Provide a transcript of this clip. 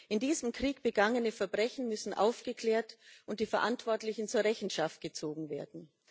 In diesem Krieg begangene Verbrechen müssen aufgeklärt und die Verantwortlichen zur Rechenschaft gezogen werden.